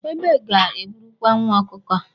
Egbe ga eburukwa nwa ọkụkọ a.